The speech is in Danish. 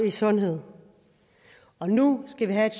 i sundhed nu skal vi have et